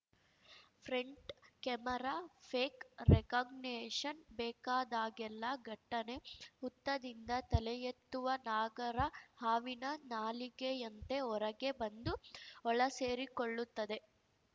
front camera face recognition ಬೇಕಾದಾಗೆಲ್ಲ ಫಟ್ಟನೆ ಹುತ್ತದಿಂದ ತಲೆಯೆತ್ತುವ ನಾಗರ ಹಾವಿನ ನಾಲಗೆಯಂತೆ ಹೊರಗೆ ಬಂದು ಒಳಸೇರಿಕೊಳ್ಳುತ್ತದೆ